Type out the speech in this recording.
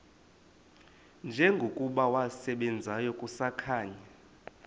njengokuba wasebenzayo kusakhanya